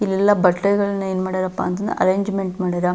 ಇಲ್ಲೆಲ್ಲಾ ಬಟ್ಟೆಗಳನ್ನು ಏನು ಮಾಡ್ಯಾರಪ್ಪ ಅಂತಂದ್ರೆ ಅರೇಂಜ್ಮೆಂಟ್ ಮಾಡ್ಯಾರೆ.